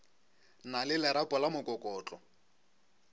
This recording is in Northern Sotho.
na le lerapo la mokokotlo